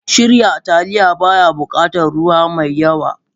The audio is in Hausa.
Shirya Taliya, ba ya buƙatar ruwa mai yawn.